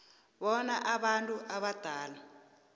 bona abantu abadala